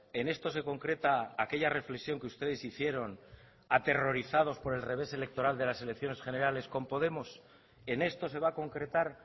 en esto se concreta aquella reflexión que ustedes hicieron aterrorizados por el revés electoral de las elecciones generales con podemos en esto se va a concretar